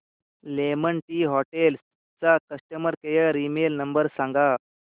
lemon Tree Hotels चा customer care email number सांगा